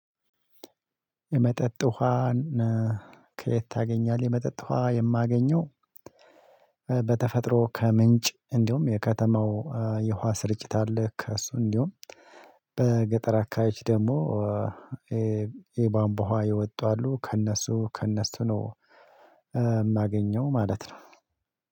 የመጠጥ ውሃን ከየት ታገኛለህ? የመጠጥ ውሃ የማገኘው በተፈጥሮ ከምንጭ እንዲሁም የከተማው የውሃ ስርጭት አለ። ከእሱ እንዲሁም በገጠር አካባቢዎች ደግሞ የባንቧ የወጡ አሉ። ከእነሱ ከእነሱ ነው የማገኘው ማለት ነው።